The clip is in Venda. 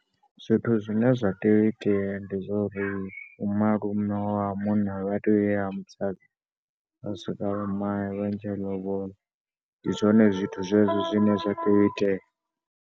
Zwithu zwine zwa tea u itea ndi zwa uri malume wa munna vha tea u ya ha musadzi, vha swika vha male, a ntshe lobola. Ndi zwone zwithu zwezwo zwine zwa tea.